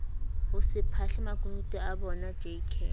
hose phahle makunutu abonaj k